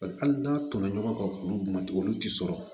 Hali n'a tɔnɔ ɲɔgɔn kan olu b'o dun olu ti sɔrɔ